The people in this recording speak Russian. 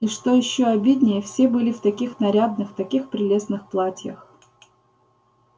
и что ещё обиднее все были в таких нарядных таких прелестных платьях